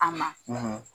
A ma